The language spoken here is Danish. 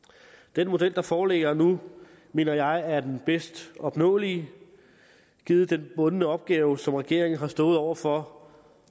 den model der foreligger nu mener jeg er den bedst opnåelige givet den bundne opgave som regeringen har stået over for